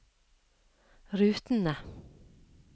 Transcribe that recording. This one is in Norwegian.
rutene